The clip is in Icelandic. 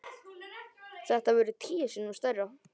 Þetta verður tíu sinnum stærra.